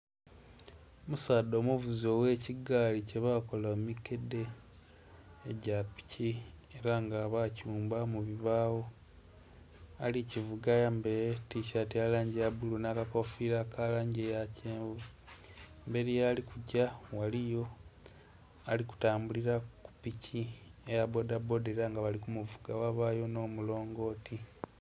Omusaadha omuvuzi oghe kigaali kye bakola mu mikedhe egya bili era nga bagighumba mu bibagho. Ali kuvuga ayambaire etisaati eya langi eya bbulu nha ka kofira aka langi eya kyenvu emberi yali kugya ghaliyo ali kutambulila ku piki eya bbodha bbodha era nga bali ku kuvuga yabayo nho mulongoti.